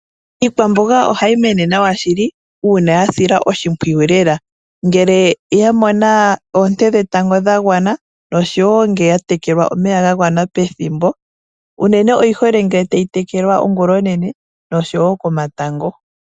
Iikwamboga ohayi mono nawa shili uuna yasilwa oshimpwiyu lela ngele yamona oonte dhetango dhagwana osho woo ngele yatekelwa omeya gagwana pethimbo unene oyi hole ngele tayi tekelwa ongula onene osho woo komatango.